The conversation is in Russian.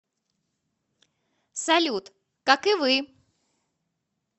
салют как и вы